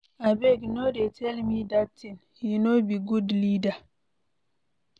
Abeg no dey tell me dat thing, he no be good leader.